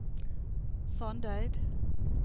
Sandeid